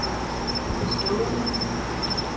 bestående